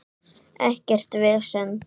Ekkert vesen.